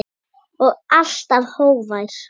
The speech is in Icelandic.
Og alltaf hógvær.